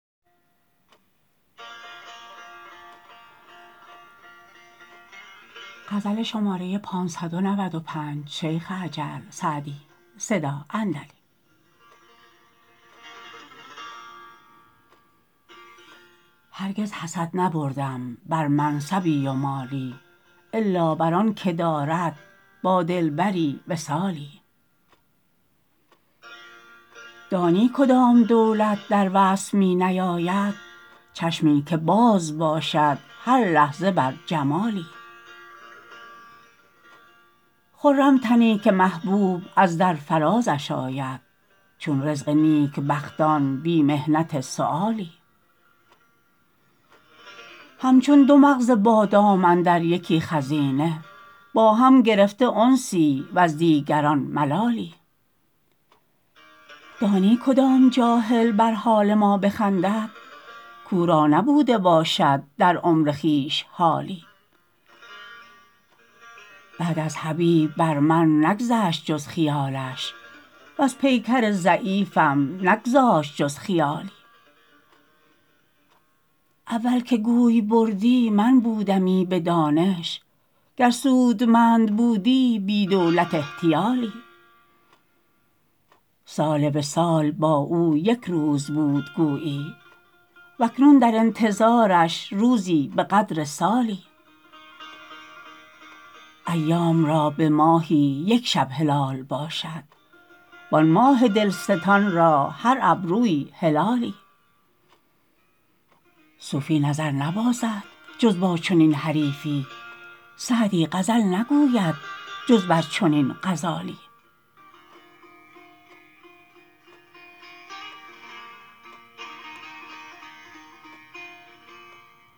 هرگز حسد نبردم بر منصبی و مالی الا بر آن که دارد با دلبری وصالی دانی کدام دولت در وصف می نیاید چشمی که باز باشد هر لحظه بر جمالی خرم تنی که محبوب از در فرازش آید چون رزق نیکبختان بی محنت سؤالی همچون دو مغز بادام اندر یکی خزینه با هم گرفته انسی وز دیگران ملالی دانی کدام جاهل بر حال ما بخندد کاو را نبوده باشد در عمر خویش حالی بعد از حبیب بر من نگذشت جز خیالش وز پیکر ضعیفم نگذاشت جز خیالی اول که گوی بردی من بودمی به دانش گر سودمند بودی بی دولت احتیالی سال وصال با او یک روز بود گویی و اکنون در انتظارش روزی به قدر سالی ایام را به ماهی یک شب هلال باشد وآن ماه دلستان را هر ابرویی هلالی صوفی نظر نبازد جز با چنین حریفی سعدی غزل نگوید جز بر چنین غزالی